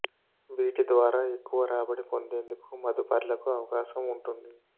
వీటి ద్వారా ఎక్కువ రాబడి పొందేందుకు మదుపర్లకు అవకాశం ఉంటుంది